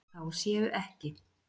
Þá séu ekki